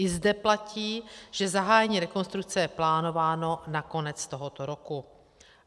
I zde platí, že zahájení rekonstrukce je plánováno na konec tohoto roku.